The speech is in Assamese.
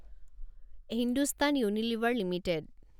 Hindustan Unilever limited